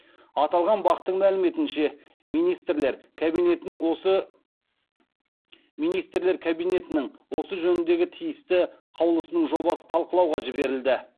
аталған бақ тың мәліметінше министрлер кабинетінің осы жөніндегі тиісті қаулысының жобасы талқылауға жіберілді